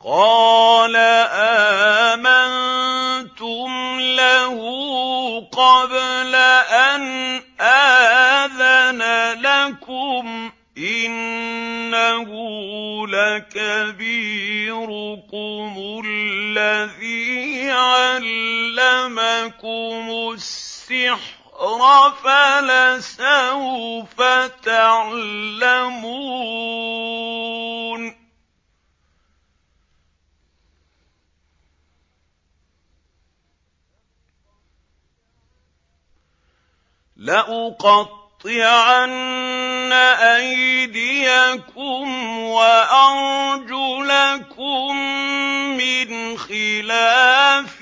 قَالَ آمَنتُمْ لَهُ قَبْلَ أَنْ آذَنَ لَكُمْ ۖ إِنَّهُ لَكَبِيرُكُمُ الَّذِي عَلَّمَكُمُ السِّحْرَ فَلَسَوْفَ تَعْلَمُونَ ۚ لَأُقَطِّعَنَّ أَيْدِيَكُمْ وَأَرْجُلَكُم مِّنْ خِلَافٍ